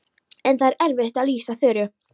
En það er erfitt að lýsa Þuru.